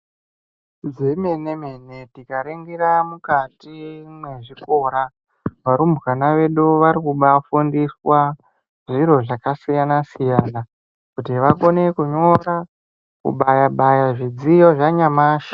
Zvemene mene tikaringira mukati mezvikora varumbwana vedu varikubafundiswa zviro zvakasiyana siyana kuti vakone kunyora kubaya baya zvidziyo zvanyamashi.